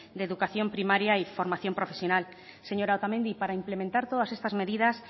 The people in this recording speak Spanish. de educación primaria y formación profesional señora otamendi para implementar todas estas medidas